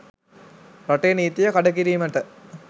රටේ නීතිය කඩ කිරීමට